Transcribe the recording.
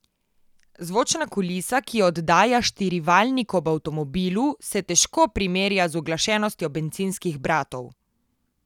Zvočna kulisa, ki jo oddaja štirivaljnik ob avtomobilu, se težko primerja z uglašenostjo bencinskih bratov.